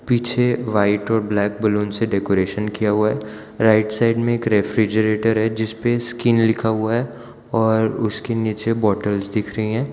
पीछे वाइट और black balloon से डेकोरेशन किया हुआ है राइट साइड में एक रेफ्रिजरेटर है जिस पे स्किन लिखा हुआ है और उसके नीचे बॉटल्स दिख रही हैं।